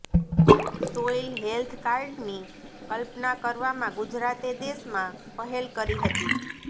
soil health કાર્ડની કલ્પના કરવામાં ગુજરાતે દેશમાં પહેલ કરી હતી